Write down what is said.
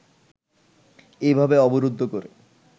এভাবে অবরুদ্ধ করে